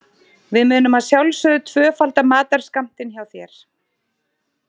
Við munum að sjálfsögðu tvöfalda matarskammtinn hjá þér.